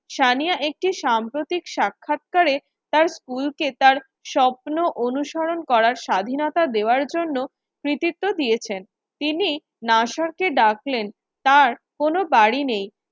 সানিয়া একটি সাম্প্রতিক সাক্ষাৎকারে তার স্কুলকে তার স্বপ্ন অনুসরণ করার স্বাধীনতা দেওয়ার জন্য কৃতিত্ব দিয়েছেন । তিনি নাসার কে ডাকলেন তার কোনো গাড়ি নেই।